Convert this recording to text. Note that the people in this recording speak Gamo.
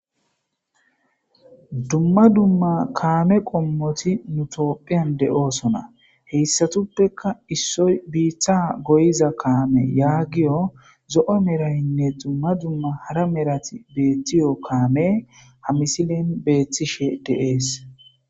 Dumma dumma kaame qommoti nu tophiyan de'oosona heyssatuppeka issoy biiththa goyiza kaame yaagiyo zo'o merayinne dumma dumma hara merati beethtiyo kaame ha misilen beethtishe deees.